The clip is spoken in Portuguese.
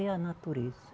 É a natureza.